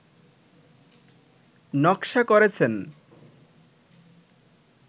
নকশা করেছেন